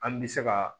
An bɛ se ka